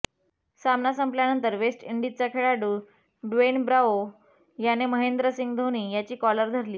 सामना संपल्यानंतर वेस्ट इंडिजचा खेळाडू ड्वेन ब्रॅवो याने महेंद्र सिंग धोनी याची कॉलर धरली